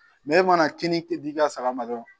e mana kini di i ka saga ma dɔrɔn